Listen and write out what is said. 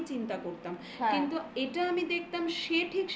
আমি চিন্তা করতাম. ovetlap কিন্তু এটা আমি দেখতাম সে ঠিক সেই জায়গা